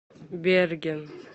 берген